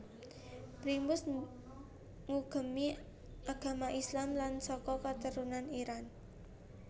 Primus ngugemi agama Islam lan saka keturunan Iran